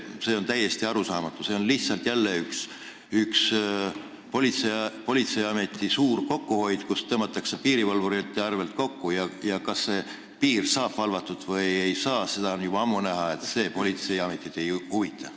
See on täiesti arusaamatu, see on lihtsalt jälle politseiameti suur kokkuhoid, kui tõmmatakse piirivalvurite arvel kokku, aga kas piir saab valvatud või ei saa – see on juba ammu näha, et see politseiametit ei huvita.